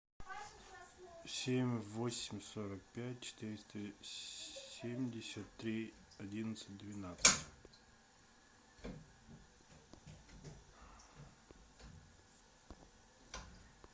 семь восемь сорок пять четыреста семьдесят три одиннадцать двенадцать